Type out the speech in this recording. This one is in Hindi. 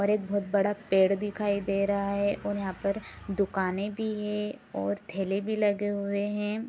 और एक बहुत बड़ा पेड़ दिखाई दे रहा है और यहाँ पर दुकानें भी है और ठेले भी लगे हुए हैं।